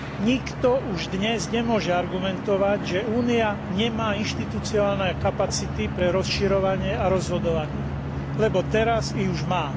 Nikto už dnes nemôže argumentovať, že Únia nemá inštitucionálne kapacity pre rozširovanie a rozhodovanie, lebo teraz ich už má.